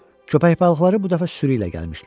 Köpək balıqları bu dəfə sürü ilə gəlmişdilər.